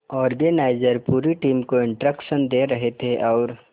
organiser पूरी team को instruction दे रहे थे और